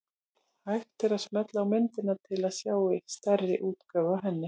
Hægt er að smella á myndina til að sjá stærri útgáfu af henni.